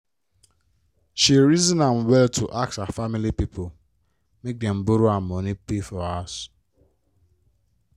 she reason am well to ask her family pipo make dem borrow her money pay for house.